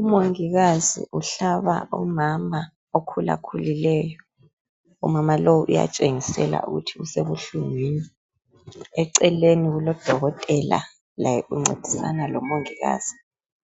Umongikazi uhlaba umama okhulakhulileyo umama lowu uyatshengisela ukuthi usebuhlungwini eceleni kubodokotela laye uncedisana lomongikazi